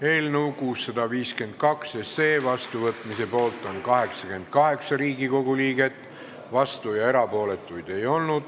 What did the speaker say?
Hääletustulemused Eelnõu 652 seadusena vastuvõtmise poolt on 88 Riigikogu liiget, vastuolijaid ja erapooletuid ei ole.